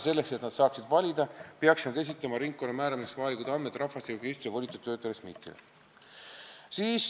Selleks, et nad saaksid valida, peaksid nad esitama ringkonna määramiseks vajalikud andmed rahvastikuregistri volitatud töötlejale SMIT-ile.